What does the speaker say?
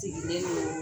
Sigilen don